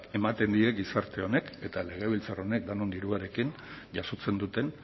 ematen die gizarte honek eta legebiltzar honek denon diruarekin jasotzen duten